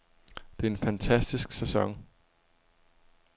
Det er en fantastisk sæson.